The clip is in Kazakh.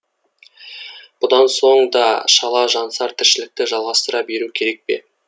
бұдан соң да шала жансар тіршілікті жалғастыра беру керек пе